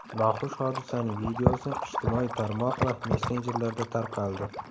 Noxush hodisaning videosi ijtimoiy tarmoq va messenjerlarda tarqaldi.